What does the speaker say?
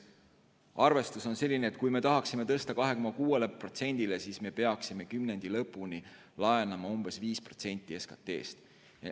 Arvestus on selline, et kui me tahaksime tõsta 2,6%-le SKT-st, siis me peaksime kümnendi lõpuni laenama umbes 5% SKT-st.